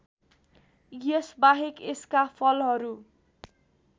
यसबाहेक यसका फलहरू